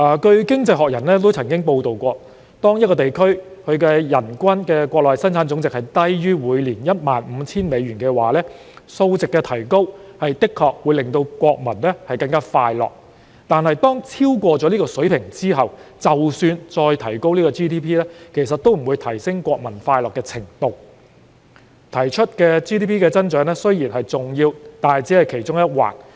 《經濟學人》曾報道，當一個地區的人均國內生產總值低於每年 15,000 美元，數值提高確實會令國民更快樂；但當數值超過這水平後，即使 GDP 再提高，其實也不會提升國民的快樂程度。GDP 增長固然重要，但只是其中一環。